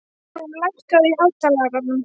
Hafrún, lækkaðu í hátalaranum.